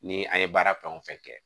Ni an ye baara fɛn o fɛn kɛ